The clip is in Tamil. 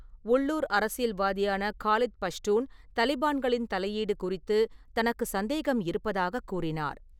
உள்ளூர் அரசியல்வாதியான காலித் பஷ்டூன் தலிபான்களின் தலையீடு குறித்து தனக்கு சந்தேகம் இருப்பதாக கூறினார்.